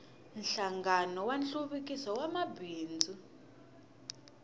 nhlangano wa nhluvukiso wa mabindzu